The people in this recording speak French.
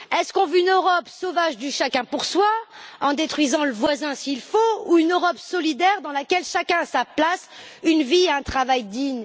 Veut on une Europe sauvage du chacun pour soi, en détruisant le voisin s'il le faut, ou une Europe solidaire, dans laquelle chacun a sa place, une vie, un travail digne?